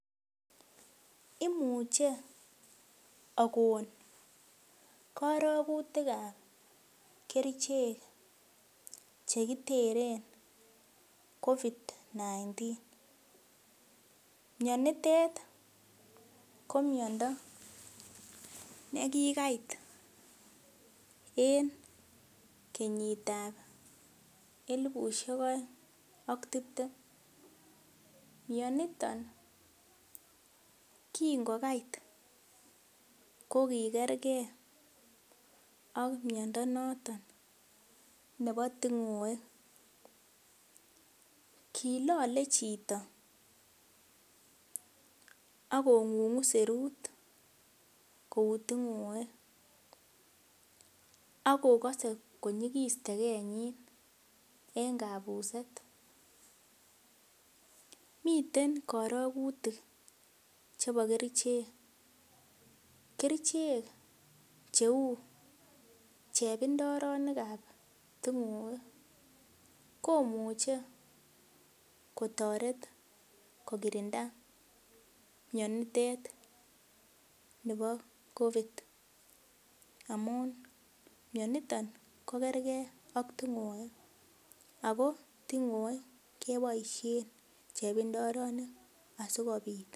Imuche akon korogutikab kerichek chekiteren Covid-19,mianitet ko miando nekikait en kenyitab elfusiek aeng ak tiptem ,mianiton king'okait kokikerke ak miando noton nebo ting'oek ,kilole chito akong'ung;u serut kou ting'oek, akokose konyikis tekenyin en kabuset, miten karokutik chebo kerichek, kerichek cheu chepindoronikab ting'oek komuche kotoret kokirinda mianitet nibo Covid amun mianiton kokerge ak ting'oek ako ting'oek keboisien chepindoronik asikobit.